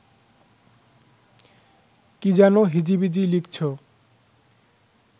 কী যেন হিজিবিজি লিখছ